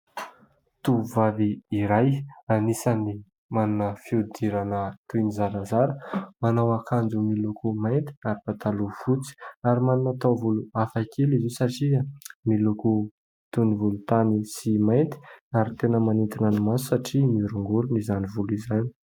Tovovavy iray anisan'ny manana fihodirana toy ny zarazara, manao akanjo miloko mainty ary pataloha fotsy. Ary manana taovolo hafakely izy io satria miloko toy ny volontany sy mainty ary tena manintona ny maso satria miorongorona izany volo izany.